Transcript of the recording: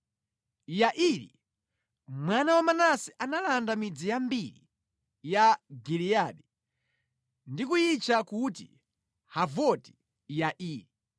Yairi, mwana wa Manase analanda midzi yambiri ya Giliyadi ndi kuyitcha kuti Havoti-Yairi.